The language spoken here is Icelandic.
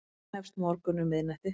Hjá þeim hefst morgunn um miðnætti.